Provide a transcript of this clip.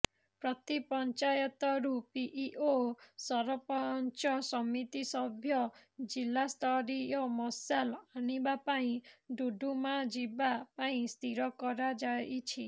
ପ୍ରତି ପଂଚାୟତରୁ ପିଇଓ ସରପଂଚ ସମିତିସଭ୍ୟ ଜିଲାସ୍ତରୀୟ ମଶାଲ ଆଣିବା ପାଇଁ ଡୁଡୁମା ଯିବା ପାଇଁ ସ୍ଥିର କରାଯାଇଛି